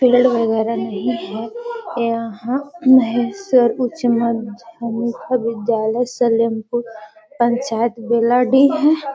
Colour वगेरा नही है यहाँ उच्च मध्य मुख्य विद्यालय पंचायत बेलाडी है।